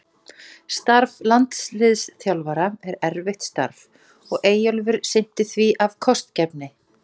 Starf landsliðsþjálfara er erfitt starf og Eyjólfur sinnti því af kostgæfni.